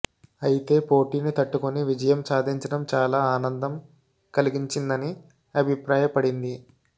అయితే పోటీని తట్టుకొని విజయం సాధించడం చాలా ఆనందం కలిగించిందని అభిప్రాయపడింది